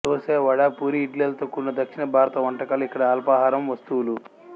దోసె వడ పూరీ ఇడ్లీలతో కూడిన దక్షిణ భారత వంటకాలు ఇక్కడి అల్పాహారం వస్తువులు